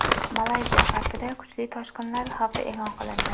Malayziya g‘arbida kuchli toshqinlar xavfi e’lon qilindi.